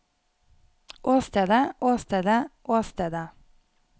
åstedet åstedet åstedet